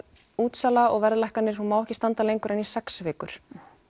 útsala og verðlækkanir mega ekki standa lengur en í sex vikur